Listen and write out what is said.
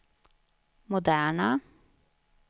moderna